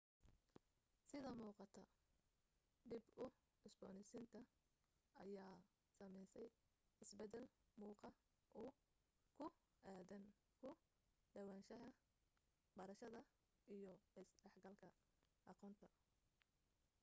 sida muqata dib u cusbonaysinta ayaa samaysay is badal muuqa uu ku aadan u dhawaanshaha barashada iyo is dhex galka aqoonta